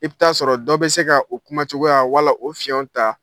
I bɛ taa sɔrɔ dɔ bɛ se ka o kuma cogoya wala o fiɲɛw ta